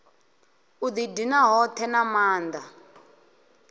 u didina hothe na maanda